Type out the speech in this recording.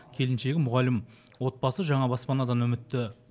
келіншегі мұғалім отбасы жаңа баспанадан үмітті